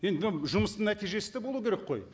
енді мынау жұмыстың нәтижесі де болу керек қой